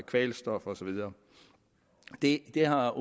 kvælstof og så videre det har